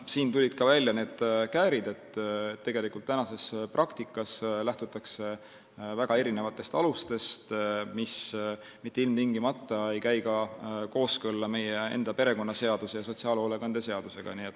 Siin tulid välja ka need käärid, tegelikult praktikas lähtutakse väga erinevatest alustest, mis mitte ilmtingimata ei ole kooskõlas perekonnaseaduse ja sotsiaalhoolekande seadusega.